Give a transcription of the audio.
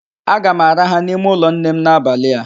Aga m araha n'ime ụlọ nnem n'abalị a